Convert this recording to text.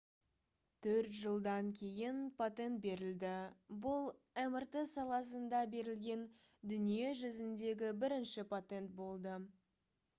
төрт жылдан кейін патент берілді бұл мрт саласында берілген дүние жүзіндегі бірінші патент болды